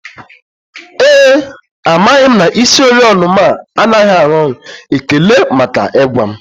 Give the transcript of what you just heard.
Ee e, amaghị m na isioriọna m anaghị arụ ọrụ, ekele maka ịgwa m